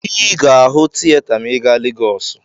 Ị ga-ahụ tiyeta maa ị gaa Legọọsụ.